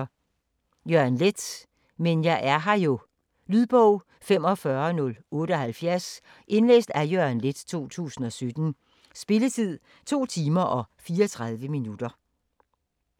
Leth, Jørgen: Men jeg er her jo Lydbog 45078 Indlæst af Jørgen Leth, 2017. Spilletid: 2 timer, 34 minutter.